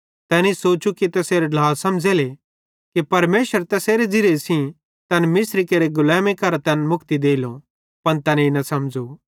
तैनी सोचू कि तैसेरे ढ्लां समझ़ेले कि परमेशरे तैसेरे ज़िरिये सेइं तैन मिस्री केरि गुलैमी करां तैन मुक्ति देलो पन तैनेईं न समझ़ू